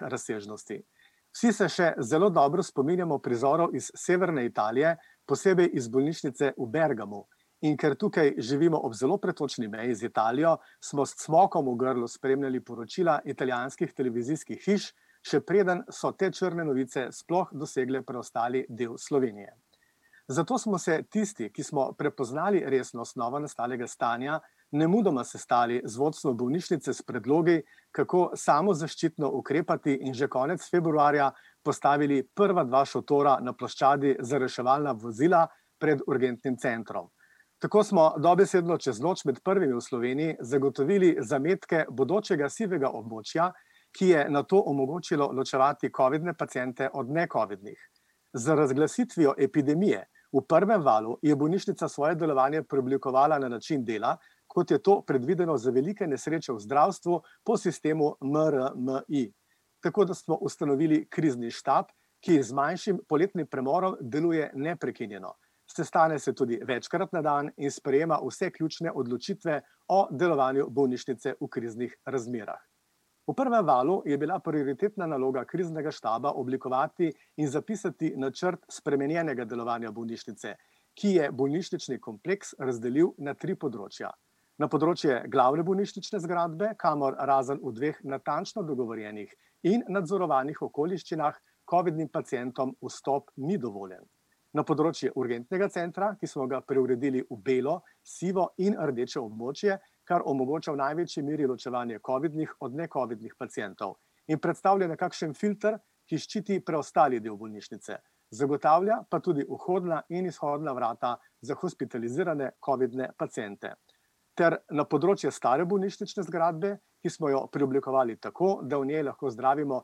razsežnosti. Vsi se še zelo dobro spominjamo prizorov iz severne Italije, posebej iz bolnišnice v Bergamu. In ker tukaj živimo ob zelo pretočni meji z Italijo, smo s cmokom v grlu spremljali poročila italijanskih televizijskih hiš, še preden so te črne novice sploh dosegle preostali del Slovenije. Zato smo se tisti, ki smo prepoznali resnost novonastalega stanja, nemudoma sestali z vodstvom bolnišnice s predlogi, kako samozaščitno ukrepati in že konec februarja postavili prva dva šotora na ploščadi za reševalna vozila pred urgentnim centrom. Tako smo dobesedno čez noč med prvimi v Sloveniji zagotovili zametke bodočega sivega območja, ki je nato omogočilo ločevati covidne paciente od necovidnih. Z razglasitvijo epidemije v prvem valu je bolnišnica svoje delovanje preoblikovala na način dela, kot je to predvideno za velike nesreče v zdravstvu po sistemu MRMI. Tako da smo ustanovili krizni štab, ki z manjšim poletnim premorom deluje neprekinjeno. Sestane se tudi večkrat na dan in sprejema vse ključne odločitve o delovanju bolnišnice v kriznih razmerah. V prvem valu je bila prioritetna naloga kriznega štaba oblikovati in zapisati načrt spremenjenega delovanja bolnišnice, ki je bolnišnični kompleks razdelil na tri področja. Na področje glavne bolnišnične zgradbe, kamor razen v dveh natančno dogovorjenih in nadzorovanih okoliščinah covidnim pacientom vstop ni dovoljen. Na področje urgentnega centra, ki smo ga preuredili v belo, sivo in rdeče območje, kar omogoča v največji meri ločevanje covidnih od necovidnih pacientov in predstavlja nekakšen filter, ki ščiti preostali del bolnišnice, zagotavlja pa tudi vhodna in izhodna vrata za hospitalizirane covidne paciente. Ter na področje stare bolnišnične zgradbe, ki smo jo preoblikovali tako, da v njej lahko zdravimo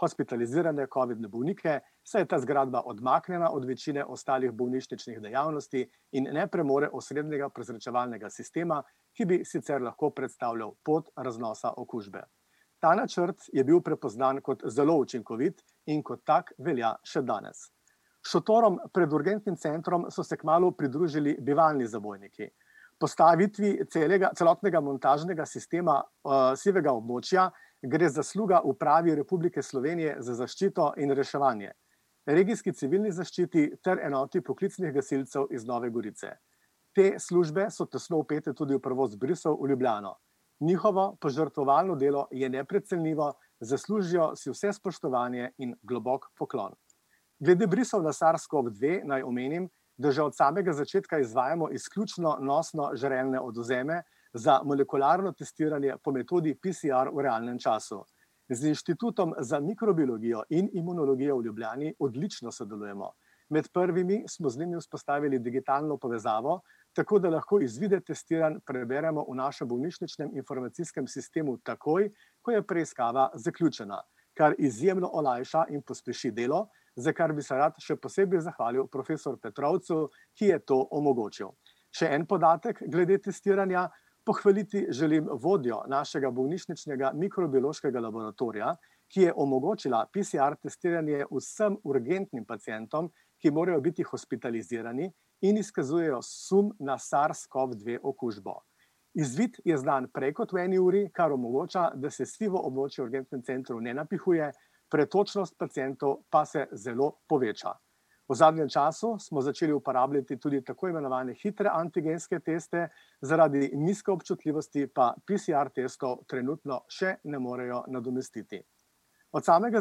hospitalizirane covidne bolnike, saj je ta zgradba odmaknjena od večine ostalih bolnišničnih dejavnosti in ne premore osrednjega prezračevalnega sistema, ki bi sicer lahko predstavljal pot raznosa okužbe. Ta načrt je bil prepoznan kot zelo učinkovit in kot tak velja še danes. Šotorom pred urgentnim centrom so se kmalu pridružili bivalni zabojniki. Postavitvi celega, celotnega montažnega sistema, sivega območja, gre zasluga Upravi Republike Slovenije za zaščito in reševanje, regijski civilni zaščiti ter enoti poklicnih gasilcev iz Nove Gorice. Te službe so tesno vpete tudi v prevoz brisov v Ljubljano. Njihovo požrtvovalno delo je neprecenljivo, zaslužijo si vse spoštovanje in globoko poklon. Glede brisov na SARS-CoV-dve naj omenim, da že od samega začetka izvajamo izključno nosno-žrelne odvzeme, za molekularno testiranje po metodi PCR v realnem času. Z Inštitutom za mikrobiologijo in imunologijo v Ljubljani odlično sodelujemo. Med prvimi smo z njimi vzpostavili digitalno povezavo, tako da lahko izvide testiranj preverjamo v našem bolnišničnem informacijskem sistemu takoj, ko je preiskava zaključena, kar izjemno olajša in pospeši delo, za kar bi se rad še posebej zahvalil profesor Petrovcu, ki je to omogočil. Še en podatek glede testiranja: pohvaliti želim vodjo našega bolnišničnega mikrobiološkega laboratorija, ki je omogočila PCR-testiranje vsem urgentnim pacientom, ki morajo biti hospitalizirani in izkazujejo sum na SARS-CoV-dve okužbo. Izvid je znan prej kot v eni uri, kar omogoča, da se sivo območje v urgentnem centru ne napihuje, pretočnost pacientov pa se zelo poveča. V zadnjem času smo začeli uporabljati tudi tako imenovane hitre antigenske teste, zaradi nizke občutljivosti pa PCR-testov trenutno še ne morejo nadomestiti. Od samega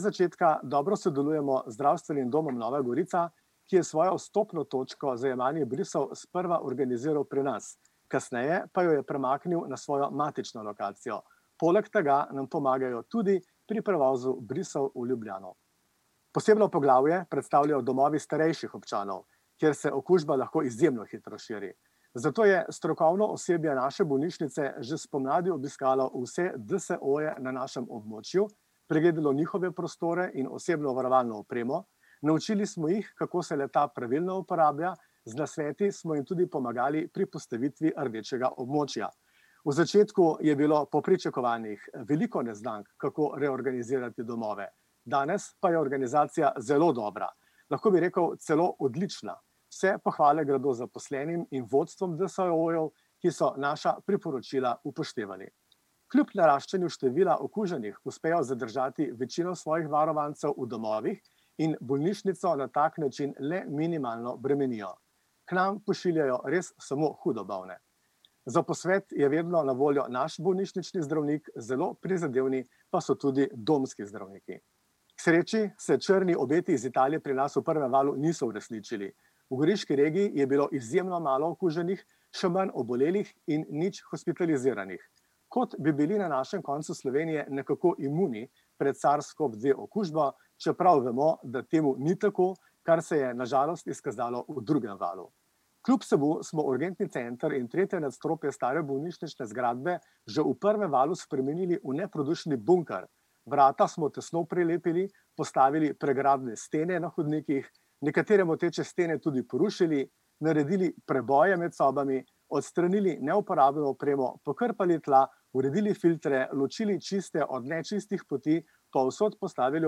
začetka dobro sodelujemo z Zdravstvenim domom Nova Gorica, ki je svojo vstopno točko za jemanje brisov sprva organiziral pri nas, kasneje pa jo je premaknil na svojo matično lokacijo. Poleg tega nam pomagajo tudi pri prevozu brisov v Ljubljano. Posebno poglavje predstavljajo domovi starejših občanov, kjer se okužba lahko izjemno hitro širi. Zato je strokovno osebje naše bolnišnice že spomladi obiskalo vse DSO-je na našem območju, pregledalo njihove prostore in osebno varovalno opremo. Naučili smo jih, kako se le-ta pravilno uporablja, z nasveti smo jim tudi pomagali pri postavitvi rdečega območja. V začetku je bilo po pričakovanjih veliko neznank, kako reorganizirati domove, danes pa je organizacija zelo dobra. Lahko bi rekel celo odlična. Vse pohvale gredo zaposlenim in vodstvom DSO-jev, ki so naša priporočila upoštevali. Kljub naraščanju števila okuženih uspejo zadržati večino svojih varovancev v domovih in bolnišnico na tak način le minimalno bremenijo. K nam pošiljajo res samo hudo bolne. Za posvet je vedno na voljo naš bolnišnični zdravnik, zelo prizadevni pa so tudi domski zdravniki. K sreči se črni obeti iz Italije pri nas v prvem valu niso uresničili, v goriški regiji je bilo izjemno malo okuženih, še manj obolelih in nič hospitaliziranih. Kot bi bili na našem koncu Slovenije nekako imuni pred SARS-CoV-dve okužbo, čeprav vemo, da temu ni tako, kar se je na žalost izkazalo v drugem valu. Kljub vsemu smo urgentni center in tretje nadstropje stare bolnišnične zgradbe že v prvem valu spremenili v neprodušni bunker. Vrata smo tesno prelepili, postavili pregradne stene na hodnikih, nekatere moteče stene tudi porušili, naredili preboje med sobami, odstranili neuporabno opremo, pokrpali tla, uredili filtre, ločili čiste od nečistih poti, povsod postavili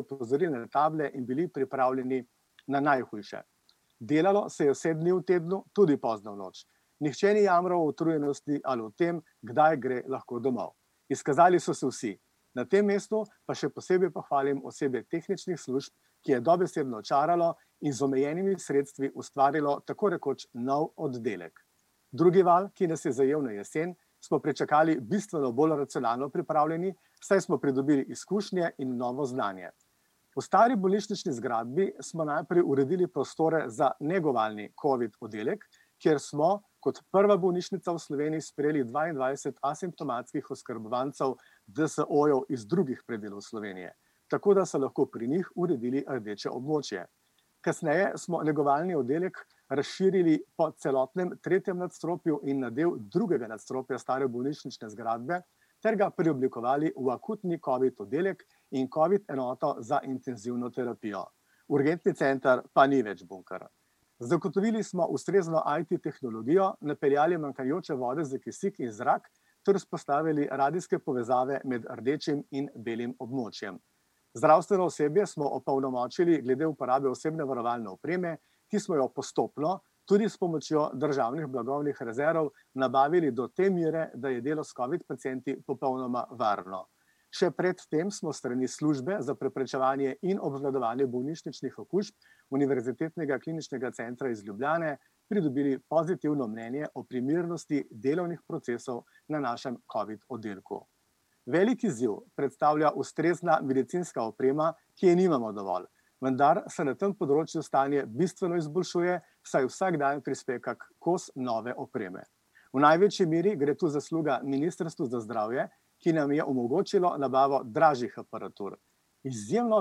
opozorilne table in bili pripravljeni na najhujše. Delalo se je vse dni v tednu, tudi pozno v noč. Nihče ni jamral o utrujenosti ali o tem, kdaj gre lahko domov. Izkazali so se vsi. Na tem mestu pa še posebej pohvalim osebje tehničnih služb, ki je dobesedno čaralo in z omejenimi sredstvi ustvarilo tako rekoč nov oddelek. Drugi val, ki nas je zajel na jesen, smo pričakali bistveno bolj racionalno pripravljeni, saj smo pridobili izkušnje in novo znanje. V stari bolnišnični zgradbi smo najprej uredili prostore za negovalni covid oddelek, kjer smo, kot prva bolnišnica v Sloveniji sprejeli dvaindvajset asimptomatskih oskrbovancev DSO-jev iz drugih predelal Slovenije, tako da so lahko pri njih uredili rdeče območje. Kasneje smo negovalni oddelek razširili po celotnem tretjem nadstropju in na del drugega nadstropja stare bolnišnične zgradbe ter ga preoblikovali v akutni covid oddelek in covid enoto za intenzivno terapijo. Urgentni center pa ni več bunker. Zagotovili smo ustrezno IP-tehnologijo, napeljali manjkajoče vode za kisik in zrak ter vzpostavili radijske povezave med rdečim in belim območjem. Zdravstveno osebje smo opolnomočili glede uporabe osebne varovalne opreme, ki smo jo postopno, tudi s pomočjo državnih blagovnih rezerv, nabavili do te mere, da je delo s covid pacienti popolnoma varno. Še pred tem smo s strani službe za preprečevanje in obvladovanje bolnišničnih okužb Univerzitetnega kliničnega centra iz Ljubljane, pridobili pozitivno mnenje o primernosti delovnih procesov na našem covid oddelku. Velik izziv predstavlja ustrezna medicinska oprema, ki je nimamo dovolj, vendar se na tem področju stanje bistveno izboljšuje, saj vsak dan prispe kak kos nove opreme. V največji meri gre tu zasluga ministrstvu za zdravje, ki nam je omogočilo nabavo dražjih aparatur. Izjemno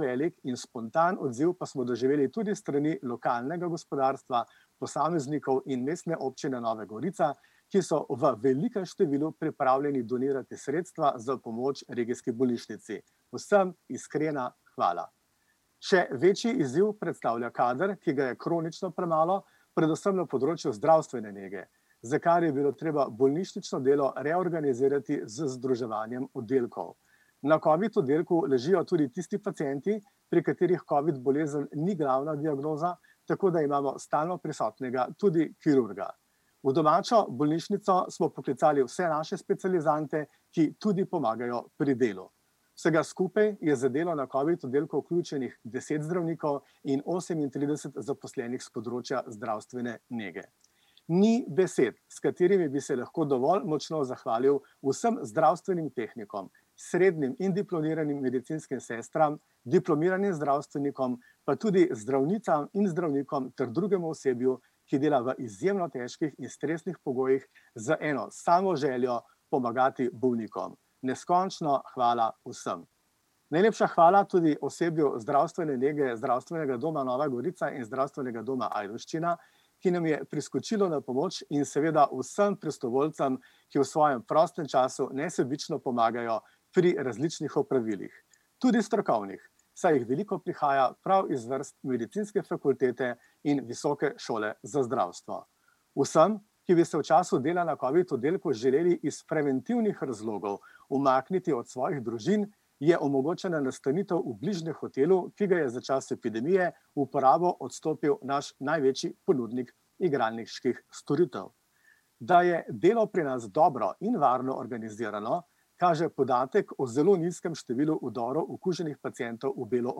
velik in spontan odziv pa smo doživeli tudi s strani lokalnega gospodarstva, posameznikov in Mestne občine Nove Gorica, ki so v velikem številu pripravljeni donirati sredstva za pomoč regijski bolnišnici. Vsem iskrena hvala. Še večji izziv predstavlja kader, ki ga je kronična prenova predvsem na področju zdravstvene nege, za kar je bilo treba bolnišnično delo reorganizirati z združevanjem oddelkov. Na covid oddelku ležijo tudi tisti pacienti, pri katerih covid bolezen ni glavna diagnoza, tako da imamo stalno prisotnega tudi kirurga. V domačo bolnišnico smo poklicali vse naše specializante, ki tudi pomagajo pri delu. Vsega skupaj je v zadevo na covid oddelku vključenih deset zdravnikov in osemintrideset zaposlenih s področja zdravstvene nege. Ni besed, s katerimi bi se lahko dovolj močno zahvalil vsem zdravstvenim tehnikom, srednjim in diplomiranim medicinskim sestram, diplomiranim zdravstvenikom, pa tudi zdravnicam in zdravnikom ter drugemu osebju, ki dela v izjemno težkih in stresnih pogojih, z eno samo željo: pomagati bolnikom. Neskončno hvala vsem. Najlepša hvala tudi osebju zdravstvene nege Zdravstvenega doma Nova Gorica in Zdravstvenega doma Ajdovščina, ki nam je priskočilo na pomoč, in seveda vsem prostovoljcem, ki v svojem prostem času nesebično pomagajo pri različnih opravilih, tudi strokovnih, saj jih veliko prihaja prav iz vrst medicinske fakultete in visoke šole za zdravstvo. Vsem, ki bi se v času dela na covid oddelku želeli iz preventivnih razlogov umakniti od svojih družin, je omogočena nastanitev v bližnjem hotelu, ki ga je za čas epidemije v uporabo odstopil naš največji ponudnik igralniških storitev. Da je delo pri nas dobro in varno organizirano, kaže podatek o zelo nizkem številu vdorov okuženih pacientov v belo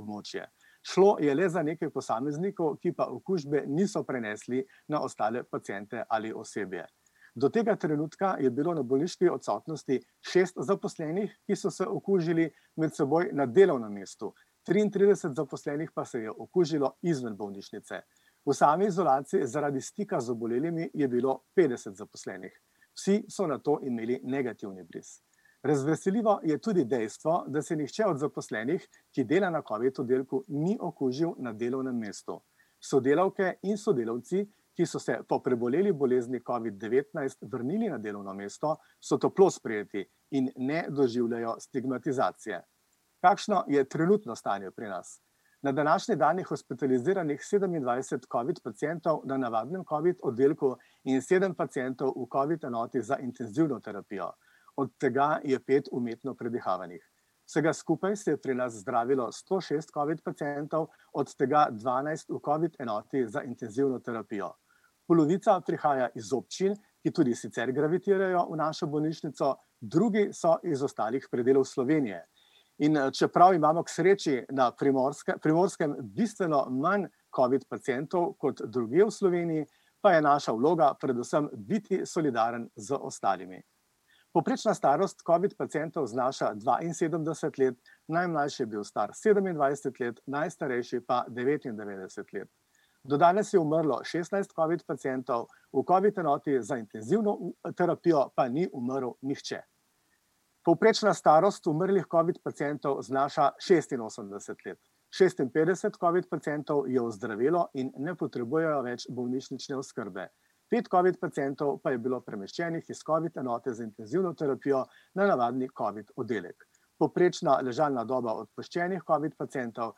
območje. Šlo je le za nekaj posameznikov, ki pa okužbe niso prenesli na ostale paciente ali osebje. Do tega trenutka je bilo na bolniški odsotnosti šest zaposlenih, ki so se okužili med seboj na delovnem mestu. Triintrideset zaposlenih pa se je okužilo izven bolnišnice. V sami izolaciji zaradi stika z obolelimi je bilo petdeset zaposlenih. Vsi so nato imeli negativni bris. Razveseljivo je tudi dejstvo, da se nihče od zaposlenih, ki dela na covid oddelku, ni okužil na delovnem mestu. Sodelavke in sodelavci, ki so se po preboleli bolezni covid-devetnajst vrnili na delovno mesto, so toplo sprejeti in ne doživljajo stigmatizacije. Kakšno je trenutno stanje pri nas? Na današnji dan je hospitaliziranih sedemindvajset covid pacientov na navadnem covid oddelku in sedem pacientov v covid enoti za intenzivno terapijo. Od tega je pet umetno predihavanih. Vsega skupaj se je pri nas zdravilo sto šest covid pacientov, od tega dvanajst v covid enoti za intenzivno terapijo. Polovica prihaja iz občin, ki tudi sicer gravitirajo v našo bolnišnico, drugi so iz ostalih predelov Slovenije. In, čeprav imamo k sreči na Primorskem bistveno manj covid pacientov kot drugje v Sloveniji, pa je naša vloga predvsem biti solidaren z ostalimi. Povprečna starost covid pacientov znaša dvainsedemdeset let, najmlajši je bil star sedemindvajset let, najstarejši pa devetindevetdeset let. Do danes je umrlo šestnajst covid pacientov, v covid enoti za intenzivno terapijo pa ni umrl nihče. Povprečna starost umrlih covid pacientov znaša šestinosemdeset let. Šestinpetdeset covid pacientov je ozdravelo in ne potrebujejo več bolnišnične oskrbe. Pet covid pacientov pa je bilo premeščenih iz covid enote za intenzivno terapijo na navadni covid oddelek. Povprečna ležalna doba odpuščenih covid pacientov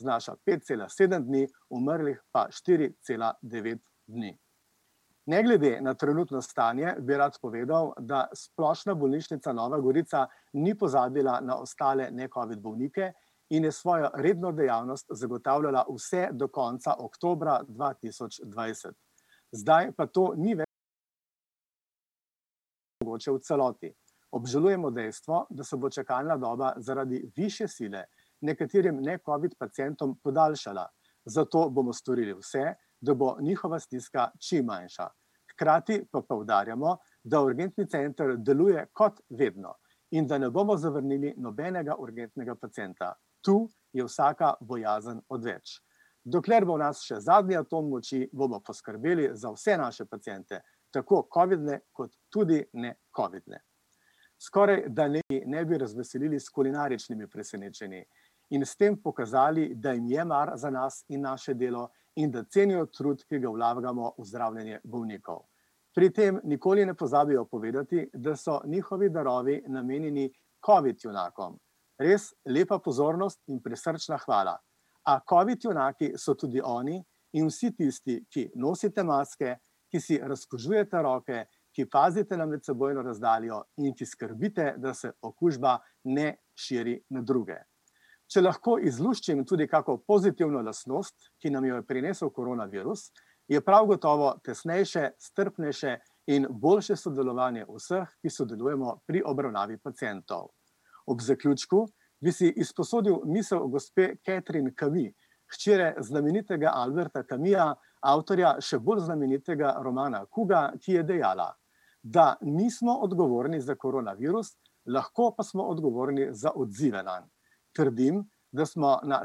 znaša pet cela sedem dni, umrlih pa štiri cela devet dni. Ne glede na trenutno stanje bi rad povedal, da Splošna bolnišnica Nova Gorica ni pozabila na ostale necovid bolnike in je svojo redno dejavnost zagotavljala vse do konca oktobra dva tisoč dvajset. Zdaj pa to ni ... mogoče v celoti. Obžalujemo dejstvo, da se bo čakalna doba zaradi višje sile nekaterim necovid pacientom podaljšala, zato bomo storili vse, da bo njihova stiska čim manjša. Hkrati pa poudarjamo, da urgentni center deluje kot vedno in da ne bomo zavrnili nobenega urgentnega pacienta. Tu je vsaka bojazen odveč. Dokler bo v nas še zadnji atom moči, bomo poskrbeli za vse naše paciente, tako covidne kot tudi necovidne. Skoraj da ne bi razveselili s kulinaričnimi presenečenji in s tem pokazali, da jim je mar za nas in naše delo in da cenijo trud, ki ga vlagamo v zdravljenje bolnikov. Pri tem nikoli ne pozabijo povedati, da so njihovi darovi namenjeni covid junakom, res lepa pozornost in prisrčna hvala. A covid junaki so tudi oni in vsi tisti, ki nosite maske, ki si razkužujete roke, ki pazite na medsebojno razdaljo in ki skrbite, da se okužba ne širi na druge. Če lahko izluščim tudi kako pozitivno lastnost, ki nam jo je prinesel koronavirus, je prav gotovo tesnejše, strpnejše in boljše sodelovanje vseh, ki sodelujemo pri obravnavi pacientov. Ob zaključku bi si izposodil misel gospe Catherine Camus, hčere znamenitega Alberta Camusa, avtorja še bolj znamenitega romana Kuga, ki je dejala, da nismo odgovorni za koronavirus, lahko pa smo odgovorni za odzive nanj. Trdim, da smo na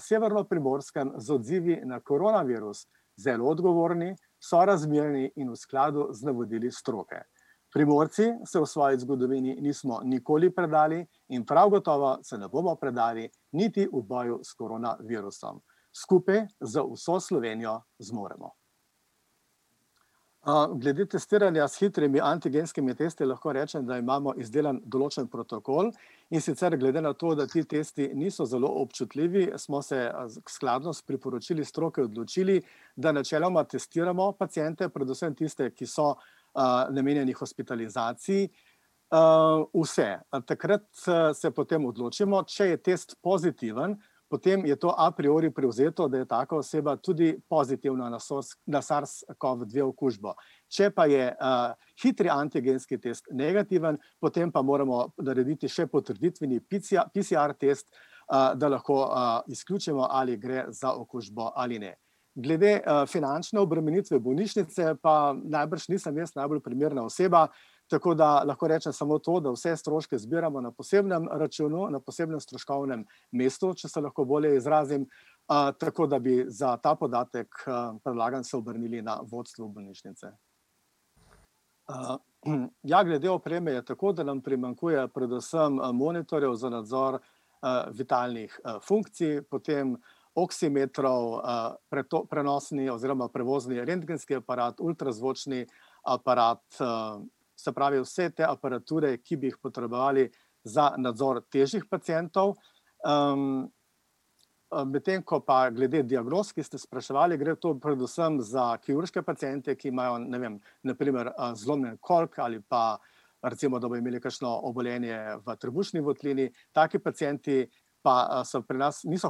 Severnoprimorskem z odzivi na koronavirus zelo odgovorni, sorazmerni in v skladu z navodili stroke. Primorci se v svoji zgodovini nismo nikoli predali in prav gotovo se ne bomo predali niti v boju s koronavirusom. Skupaj z vso Slovenijo zmoremo. glede testiranja s hitrimi antigenskimi tisto lahko rečem, da imamo izdelan določen protokol, in sicer glede na to, da ti tisto niso zelo občutljivi, smo se skladno s priporočili stroke odločili, da načeloma testiramo paciente, predvsem tiste, ki so, namenjeni hospitalizaciji. vse. takrat se, se potem odločimo, če je test pozitiven, potem je to a priori privzeto, da je taka oseba tudi pozitivna na na SARS- CoV-dve okužbo. Če pa je, hitri antigenski test negativen, potem pa moramo narediti še potrditveni PCR-test, da lahko, izključimo, ali gre za okužbo ali ne. Glede, finančne obremenitve bolnišnice pa najbrž nisem jaz najbolj primerna oseba, tako da lahko rečem samo to, da vse stroške zbiramo na posebnem računu, na posebnem stroškovnem mestu, če se lahko bolje izrazim, tako da bi za ta podatek predlagam, se obrnili na vodstvo bolnišnice. ja, glede opreme je tako, da nam primanjkuje predvsem, monitorjev za nadzor, vitalnih, funkcij, potem oksimetrov, prenosni oziroma prevozni rentgenski aparat, ultrazvočni aparat, se pravi vse te aparature, ki bi jih potrebovali za nadzor težjih pacientov. medtem ko pa glede diagnoz, ki ste spraševali, gre to predvsem za kirurške paciente, ki imajo, ne vem, na primer, zlomljen koliko ali pa, pa recimo, da bojo imeli kakšno obolenje v trebušni votlini; taki pacienti pa, so pri nas, niso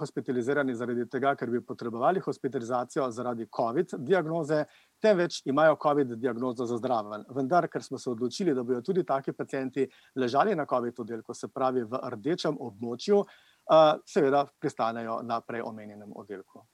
hospitalizirani zaradi tega, ker bi potrebovali hospitalizacijo, zaradi covid diagnoze, temveč imajo covid diagnozo za zraven Vendar ker smo se odločili, da bojo tudi taki pacienti ležali na covid oddelku, se pravi v rdečem območju, seveda, pristanejo na prej omenjenem oddelku.